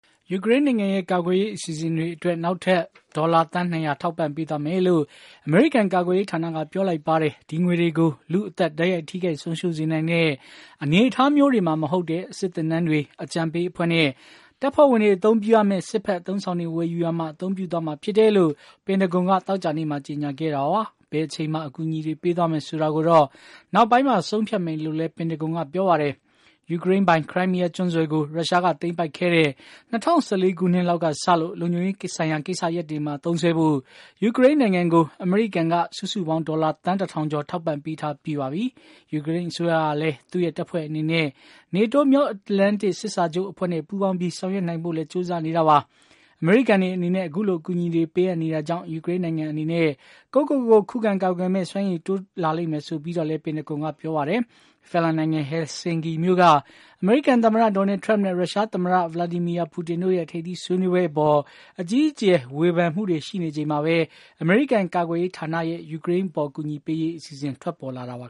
ယူကရိန်းနိုင်ငံရဲ့ကာကွယ်ရေးအစီအစဉ်တွေအတွက် ဒေါ်လာ သန်း ၂၀၀ ထောက်ပံ့ပေးသွားမယ်လို့ အမေရိကန် ကာကွယ်ရေးဌာနက ပြောလိုက်ပါတယ်။ ဒီငွေတွေကို လူ့အသက် တိုက်ရိုက်ထိခိုက် ဆုံးရှုံး စေနိုင်တဲ့ အနေအထားမျိုးတွေမှာမဟုတ်တဲ့ စစ်သင်တန်းတွေ၊ အကြံပေးအဖွဲ့နဲ့ တပ်ဖွဲ့ဝင်တွေအသုံးပြုရမယ့် စစ်ဖက်အသုံးအဆောင်တွေ ဝယ်ယူရာမှာ အသုံးပြုသွားမှာဖြစ်တယ်လို့ ပန်တဂွန်က သောကြာနေ့မှာ ကြေညာခဲ့တာပါ။ ဘယ်အချိန်မှာ အကူအညီတွေ ပေးသွားမယ်ဆိုတာကိုတော့ နောက်ပိုင်းမှာ ဆုံးဖြတ်မယ်လို့လည်း ပန်တဂွန်ကပြောပါတယ်။ ယူကရိန်းပိုင် ခရိုင်းမီးယား ကျွန်းဆွယ်ကို ရုရှားက သိမ်းပိုက်ခဲ့တဲ့ ၂၀၁၄ ခုနှစ်လောက်စလို့ လုံခြုံရေးဆိုင်ရာ ကိစ္စရပ်တွေမှာသုံးစွဲဖို့ ယူကရိန်းနိုင်ငံကို အမေရိကန်က စုစုပေါင်း ဒေါ်လာ သန်း ၁,၀၀၀ ကျော် ထောက်ပံ့ပေးထားပြီးပါပြီ။ ယူကရိန်းအစိုးရကလည်း သူ့ရဲ့ တပ်ဖွဲ့အနေနဲ့ NATO မြောက်အတ္တလန်တစ် စစ်စာချုုပ်အဖွဲ့နဲ့ ပူးပေါင်းပြီး ဆောင်ရွက်နိုင်ဖို့လည်း ကြိုးစားနေတာပါ။ အမေရိကန်တွေအနေနဲ့ အခုလို အကူအညီတွေ ပေးအပ်နေတာ ကြောင့် ယူကရိန်းနိုင်ငံအနေနဲ့ ကိုယ့်ကိုယ်ကို ခုခံကာကွယ်မယ့် စွမ်းရည်တိုးလာလိမ့်မယ် ဆိုပြီးတော့လည်း ပန်တဂွန်ကပြောပါတယ်။ ဖင်လန်နိုင်ငံ ဟယ်လ်ဆင်ကီမြို့က အမေရိကန်သမ္မတ Donald Trump နဲ့ ရုရှားသမ္မတ Vladimir Putin တို့ရဲ့ထပ်သီးဆွေးနွေးပွဲအပေါ် အကြီးအကျယ် ဝေဖန်မှုနေကြချိန်မှာပဲ အမေရိကန် ကာကွယ်ရေးဌာနရဲ့ယူကရိန်းအပေါ် အကူအညီပေးရေး အစီအစဉ် ထွက်ပေါ်လာတာပါ